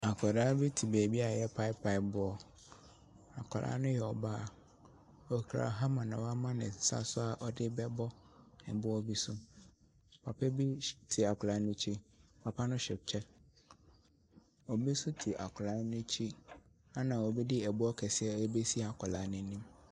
Akwaraa bi te baabi a yɛrepaepae boɔ. Akwaraa no yɛ ɔbaa. Okura hammer na wama ne nsa so a ɔde rebɛbɔ ɛboɔ bi so. Papa bi te akwaraa no akyi, papa no hyɛ kyɛ.